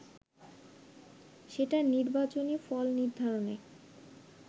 সেটা নির্বাচনী ফল নির্ধারণে